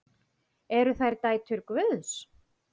Eru þær dætur Guðs?